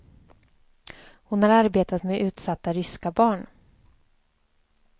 Hon har arbetat med utsatta ryska barn.